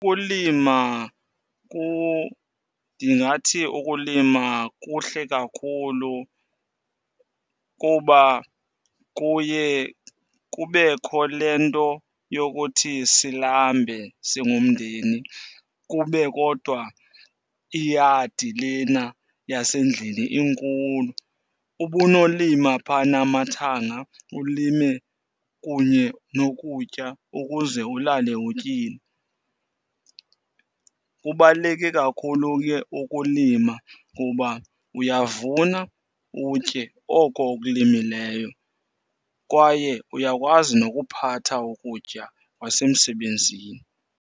Ukulima , ndingathi ukulima kuhle kakhulu kuba kuye kubekho le nto yokuthi silambe singumndeni kube kodwa iyadi lena yasendlini inkulu. Ubunolima phana amathanga, ulime kunye nokutya ukuze ulale utyile. Kubaluleke kakhulu ke ukulima kuba uyavuma utye oko okulimileyo kwaye uyakwazi nokuphatha ukutya kwasemsebenzini.